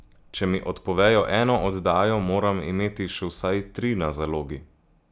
Če mi odpovejo eno oddajo, moram imeti še vsaj tri na zalogi.